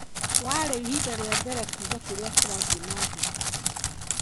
warĩ ibida rĩa mbere kuuga kĩria kirathii na mbere